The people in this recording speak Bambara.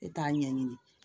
E t'a ɲɛɲini